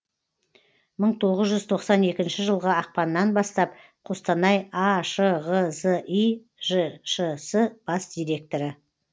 мың тоғыз жүз тоқсан екінші жылғы ақпаннан бастап қостанай ашғзи жшс бас директоры